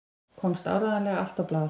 Komst áreiðanlega allt á blað?